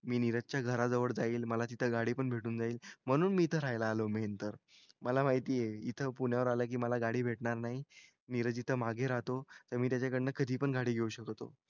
मी नीरजच्या घराजवळ जाईल. मला तिथं गाडी पण भेटून जाईल. म्हणून मी इथं राहायला आलो मेन तर. मला माहिती आहे इथं पुण्यावर आलं की मला गाडी भेटणार नाही. नीरज इथं मागे राहतो. तर मी त्याच्याकडनं कधी पण गाडी घेऊ शकतो.